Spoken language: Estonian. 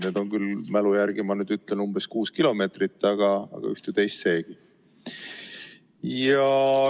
Need on küll – mälu järgi ütlen – umbes kuus kilomeetrit, aga ühte-teist seegi.